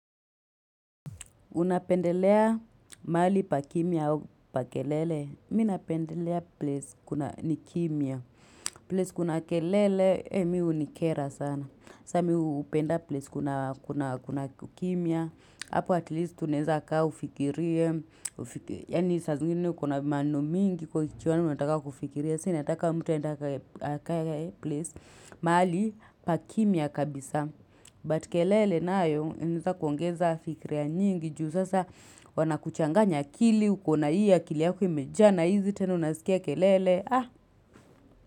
Unapendelea maali pa kimia hawa pa kelele, minapendelea place ni kimia. Place kuna kelele, miu ni kera sana. Sa miu upenda place kuna kimia. Apo at least tunenza kaa ufikirie. Yani saa zingine ukuna manu mingi kwa kichuwa ni mataka kufikiria. Sa nataka mtu aende akae, akae place. Mahali pa kimya kabisa. But kelele nayo inaeza kuongeza fikiria nyingi juu sasa wana kuchanganya akili uko na hii akili yako imejaa na hizi tena unasikia kelele.